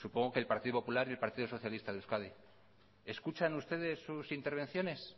supongo que el partido popular y el partido socialista de euskadi escuchan ustedes sus intervenciones